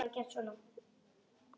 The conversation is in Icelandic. Hvern skal nefna næst?